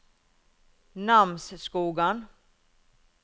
Namsskogan